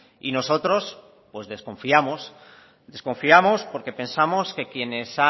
y nosotros pues desconfiamos desconfiamos porque pensamos que quienes